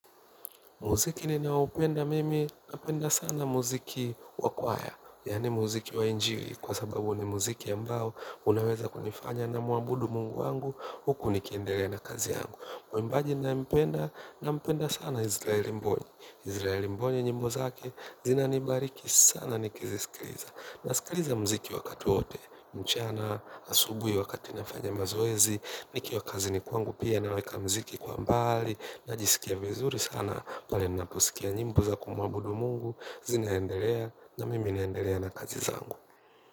Muziki ninaoupenda mimi, napenda sana muziki wa kwaya. Yaani muziki wa injiri kwa sababu ni muziki ambao unaweza kunifanya nimwabudu mungu wangu huku nikiendelea na kazi yangu. Mwimbaji ninayempenda, nampenda sana Izraeli mbonye. Izraeli mbonye nyimbo zake zinanibariki sana nikiziskiliza. Naskiliza muziki wakati wote, mchana, asubuhi wakati nafanya mazoezi, nikiwa kazini kwangu pia naweka muziki kwa mbali, najisikia vizuri sana pale ninaposikia nyimbo za kumwabudu mungu. Zinaendelea na mimi naendelea na kazi zangu.